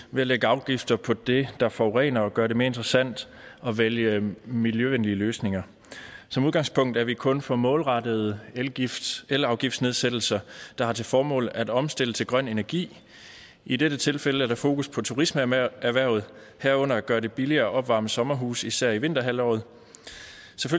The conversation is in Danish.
ved at lægge afgifter på det der forurener og gør det mere interessant at vælge miljøvenlige løsninger som udgangspunkt er vi kun for målrettede elafgiftsnedsættelser der har til formål at omstille til grøn energi i dette tilfælde er der fokus på turismeerhvervet herunder at gøre det billigere at opvarme sommerhuse i især vinterhalvåret